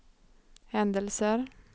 händelser